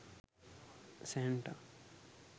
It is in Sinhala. santa